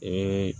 Ee